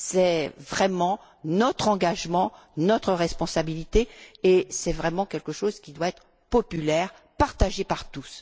C'est vraiment notre engagement, notre responsabilité, et c'est quelque chose qui doit être réellement populaire, partagé par tous.